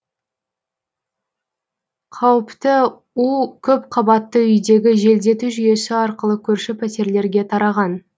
қауіпті у көпқабатты үйдегі желдету жүйесі арқылы көрші пәтерлерге тараған